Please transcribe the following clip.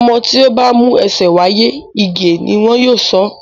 ọmọ tí ó bá mú ẹsẹ̀ wáyé, Ìgè ni wọn yóò sọ ọ́.